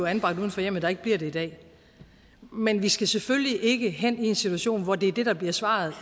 anbragt uden for hjemmet der ikke bliver det i dag men vi skal selvfølgelig ikke have en situation hvor det er det der bliver svaret